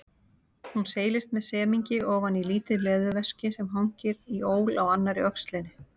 Hún seilist með semingi ofan í lítið leðurveski sem hangir í ól á annarri öxlinni.